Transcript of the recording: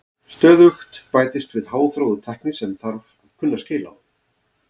Stöðugt bætist við háþróuð tækni sem þarf að kunna skil á.